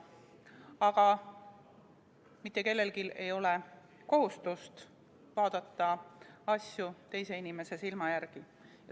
Aga mitte kellelgi ei ole kohustust vaadata asju teise inimese silmadega.